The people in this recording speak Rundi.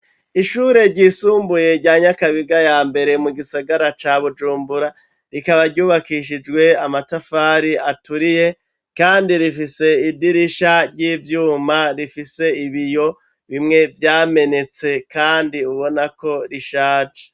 Ishure ryisumbuye rya nyakabiga ya mbere mu gisagara ca bujumbura, rikaba ryubakishijwe amatafari aturiye kandi rifise idirisha ry'ivyuma rifise ibiyo bimwe vyamenetse, kandi ubonako rishaje.